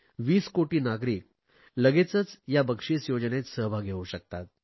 30 कोटी नागरिक लगेचच या बक्षिस योजनेत सहभागी होऊ शकतात